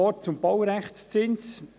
Noch zum Baurechtszins: